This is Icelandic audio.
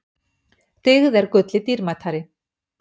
Dyggð er gulli dýrmætari.